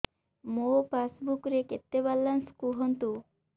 ମୋ ପାସବୁକ୍ ରେ କେତେ ବାଲାନ୍ସ କୁହନ୍ତୁ